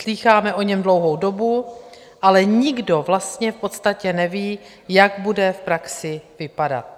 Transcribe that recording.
Slýcháme o něm dlouhou dobu, ale nikdo vlastně v podstatě neví, jak bude v praxi vypadat.